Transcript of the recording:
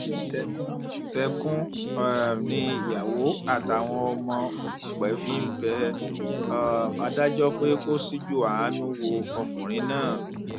tẹkùntẹkùn um ni ìyàwó àtàwọn ọmọ òkùpẹ fi ń bẹ um adájọ pé kó ṣíjú àánú wo ọkùnrin náà